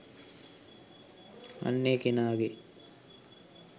අන්න ඒ කෙනාගේ